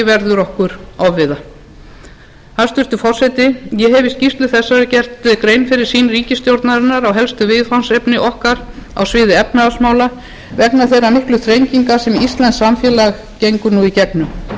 verður okkur ofviða hæstvirtur forseti ég hef í skýrslu þessari gert grein fyrir sýn ríkisstjórnarinnar á helstu viðfangsefni okkar á sviði efnahagsmála vegna þeirra miklu þrenginga sem íslenskt samfélag gengur nú í gegnum öllum ætti að vera